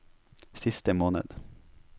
siste måned